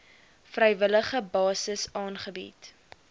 vrywillige basis aangebied